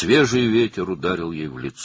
Təzə külək üzünə vurdu.